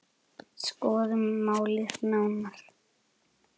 Skoðum málið nánar.